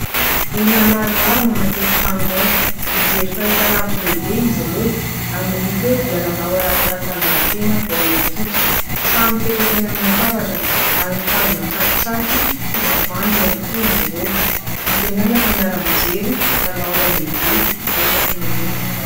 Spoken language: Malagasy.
Olona maromaro no anaty efitrano iray, mijery fahitalavitra lehibe izy ireo ary ny hita eo dia lalao ara-panatanjahatena baolina kitra, samy mipetraka eny amin'ny latabatrany ary mitazona tsakitsaky sy tavoahangy avokoa izy ireo, antenaina fa miara-mijery lalao iray lehibe iraisam-pirenena.